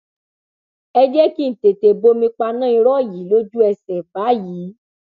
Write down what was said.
ẹ jẹ kí n tètè bomi paná irọ yìí lójúẹsẹ báyìí